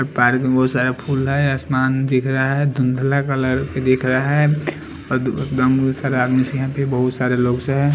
Park में बहुत सारा फूल है आसमान दिख रहा है धुंधला कलर के दिख रहा है और एकदम सारा आदमी से यहाँ पे बहुत सारे लोग से है।